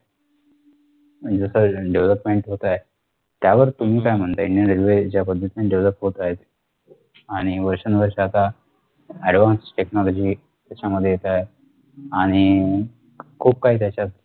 जस development होतंय त्यावर तुम्ही काय म्हणताय indian railway ज्या पद्धतीने Develop आहेत आणि वर्षनुवर्षं आता advance technology त्याच्यामध्ये येते हे आणि खूप काही त्याच्यात